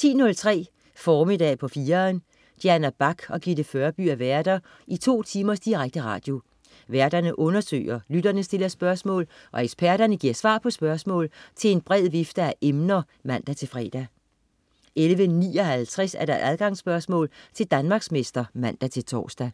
10.03 Formiddag på 4'eren. Diana Bach og Gitte Førby er værter i to timers direkte radio. Værterne undersøger, lytterne stiller spørgsmål, og eksperterne giver svar på spørgsmål til en bred vifte af emner (man-fre) 11.59 Adgangsspørgsmål til Danmarksmester (man-tors)